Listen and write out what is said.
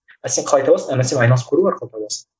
а сен қалай табасың әр нәрсемен айналысып көру арқылы табасың